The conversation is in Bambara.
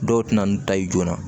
Dɔw tɛna n'u ta ye joona